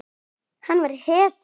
Hann var hetja.